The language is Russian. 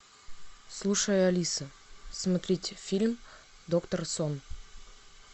слушай алиса смотреть фильм доктор сон